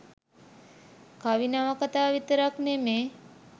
කවි නවකතා විතරක් නෙමේ